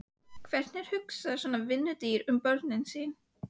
Hvernig hugsar svona vinnudýr um börnin sín?